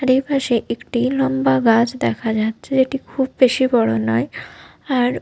আর এপাশে একটি লম্বা গাছ দেখা যাচ্ছে যেটি খুব বেশি বড় নয় আর --